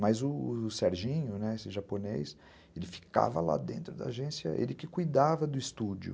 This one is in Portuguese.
Mas o o Serginho, esse japonês, ele ficava lá dentro da agência, ele que cuidava do estúdio.